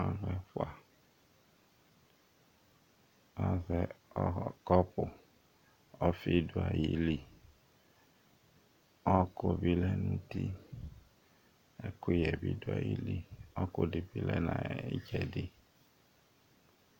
Alʋ ɛƒʋa azɛ ƙɔpʋ, ɔƒɩ ɖʋ aƴiliƆɔƙʋ bɩ lɛ nʋ uti, ɛƙʋƴɛ ɖʋ aƴili, ɔƙʋ ɖɩ bɩ lɛ nʋ aƴʋ ɩtsɛɖɩ